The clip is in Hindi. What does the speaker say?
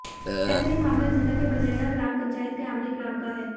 ऐसा ही मामला जिले के बनेडा़ ग्राम पंचायत के आमली ग्राम का है